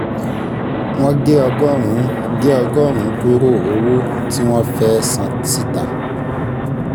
wọ́n gé ọgọ́rùn-ún gé ọgọ́rùn-ún kúrò owó tí wọ́n fẹ́ san síta